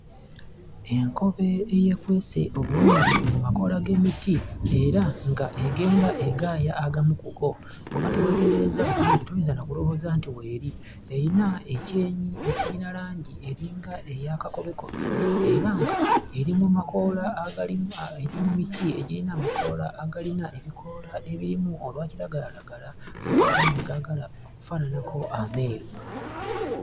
Enkobe eyeekwese obulungi eri mumakoola g'emiti era nga egenda egaaya agamu ku go. Bw'oba teweetegerezza bulungi toyinza na kulowooza nti w'eri. Erina ekyenyi ekirina langi eringa eya kakobekobe era nga eri mu makoola aga kiragalalagala ate agamu ne gaagala okufaananako ameeru.